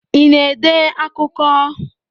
Ị na-ede akụkọ?